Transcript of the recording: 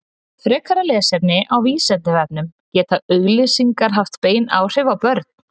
Frekara lesefni á Vísindavefnum Geta auglýsingar haft bein áhrif á börn?